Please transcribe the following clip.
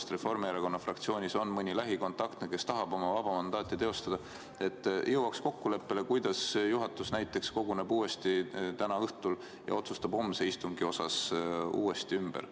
Kui Reformierakonna fraktsioonis on tõepoolest mõni lähikontaktne, kes tahab oma vaba mandaati teostada, siis äkki on võimalik jõuda kokkuleppele, et juhatus koguneb täna õhtul uuesti ja otsustab homse istungi osas ümber.